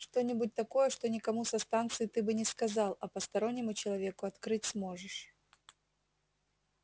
что-нибудь такое что никому со станции ты бы не сказал а постороннему человеку открыть сможешь